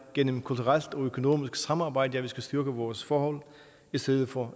gennem kulturelt og økonomisk samarbejde at vi skal styrke vores forhold i stedet for